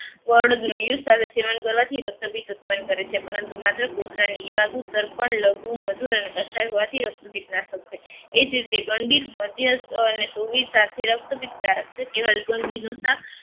સાથે સેવન કરવાથી રક્તપિત ઉત્પન્ન કરે છે પરંતુ માત્ર પોદરોની એ જ રીતે ગંડિત મધ્યસ્થ સાથે રક્તપિત નુંશાક